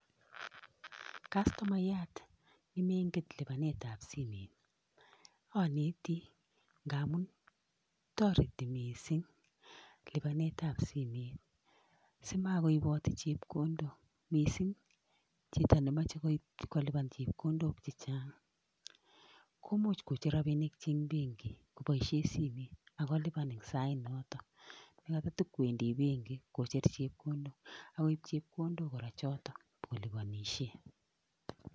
Kastomayat nemenget lipanetap simet, aneti ndamun toreti mising lipanetap simet simakoipatei chepkondok mising chito nemochei kolipan chepkondok chechang, komuch kocher rabinikchi eng benki koboishe simet akolipan eng sainotok nekatatakowendi benki nyokoip chepkondok akoip chepkondok kora chotok nyokolipanishe.